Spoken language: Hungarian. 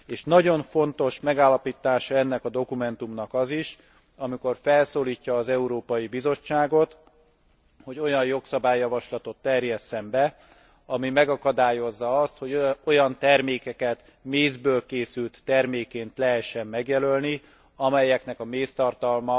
És nagyon fontos megállapítása ennek a dokumentumnak az is, amikor felszólítja az Európai Bizottságot, hogy olyan jogszabályjavaslatot terjesszen be, ami megakadályozza azt, hogy olyan termékeket mézből készült termékként lehessen megjelölni, amelynek a